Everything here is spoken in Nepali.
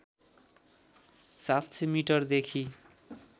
७०० मिटरदेखि